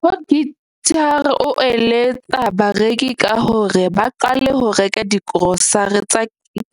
Potgieter o eletsa bareki ka hore ba qale ho reka digrosare tsa